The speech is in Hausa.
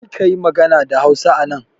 Karka yi magana da Hausa anan!